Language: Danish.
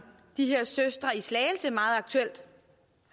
de her søstre i slagelse meget aktuelt